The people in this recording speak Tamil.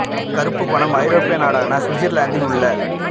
கறுப்பு பணம் ஐரோப்பிய நாடான சுவிட்சர்லாந்தில் உள்ள